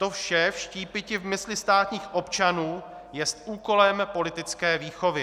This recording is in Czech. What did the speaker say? To vše vštípiti v mysli státních občanů jest úkolem politické výchovy.